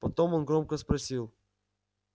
потом он громко спросил